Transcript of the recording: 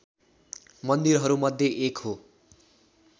मन्दिरहरूमध्ये एक हो